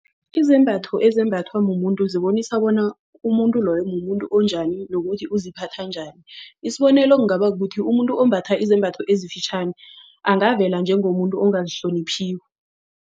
Izembatho ezembathwa mumuntu zibonisa bona umuntu loyo mumuntu onjani nokuthi uziphatha njani. Isibonelo kungaba kukuthi umuntu ombatha izembatho ezifitjhani angavela njengomuntu ongazihloniphiko.